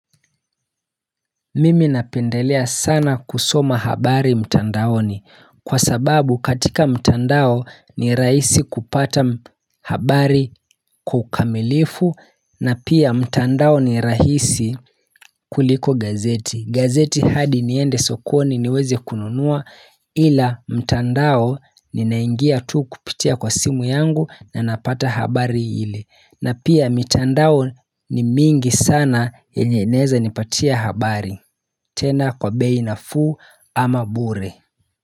Mimi napendelea sana kusoma habari mtandaoni kwa sababu katika mtandao ni raisi kupata habari kwa ukamilifu na pia mtandao ni rahisi kuliko gazeti. Gazeti hadi niende sokoni niweze kununua ila mtandao ni naingia tu kupitia kwa simu yangu na napata habari ile. Na pia mitandao ni mingi sana yenye naeza nipatia habari tena kwa bei nafuu ama bure.